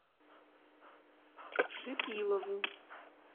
шипилову